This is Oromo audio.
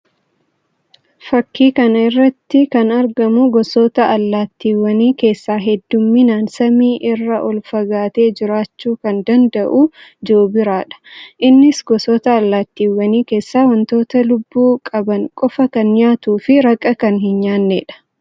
Fakkii kana irratti kan argamu gosoota allaatiiwwanii keessaa hedduminaan samii irraa ol fagaatee jiraachuu kan danda'u joobiraa dha. Innis gosoota allaatiiwwanii keessaa wantoota lubbuu qaban qofa kan nyaatuu fi raqa kan hin nyaanneedha.